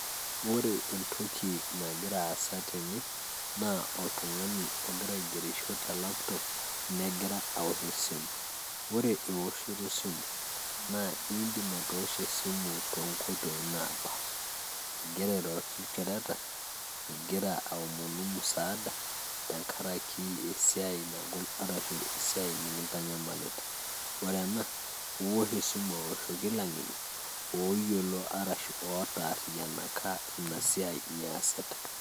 ore entoki nagira aasa tene naa oltung'ani ogira aigerisho te laptop negira awosh esimu, ore ewoshoto esimu naa indim atoosho esimu tonkoitoi napaasha igira airoroki ilchoreta igira aomonu msaada tenkaraki esiai nagol arshu esiai nikintanyamalita ore ena iwosh awoshoki ilang'eni arashu otarriyianaka inaa siai niyasita.